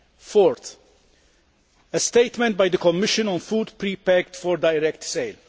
Fourthly, a statement by the Commission on food pre packed for direct sale.